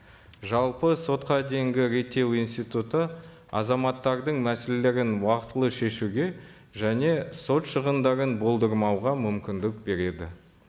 жалпы сотқа дейінгі реттеу институты азаматтардың мәселелерін уақытылы шешуге және сот шығындарын болдырмауға мүмкіндік береді